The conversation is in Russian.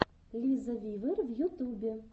лиза вивер в ютубе